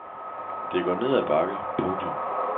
Det går ned ad bakke. punktum